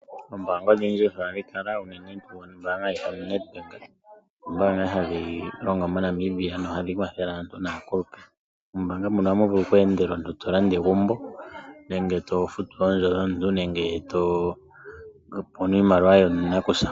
Ombaanga odhindji ohadhi kala ,unene ombaanga yoNedbank ombaanga hadhi longo moNamibia na ohadhi kwathele aantu nakulupe. Mombaanga muka ohamu vulu oku endela omuntu tolanda egumbo nenge tofutu oondjo dhomuntu nenge topula iimaliwa yanakusa